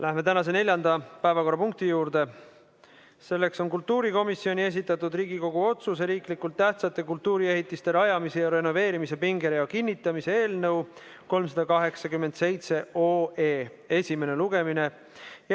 Läheme tänase neljanda päevakorrapunkti juurde: kultuurikomisjoni esitatud Riigikogu otsuse "Riiklikult tähtsate kultuuriehitiste rajamise ja renoveerimise pingerea kinnitamine" eelnõu 387 esimene lugemine.